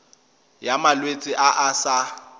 ya malwetse a a sa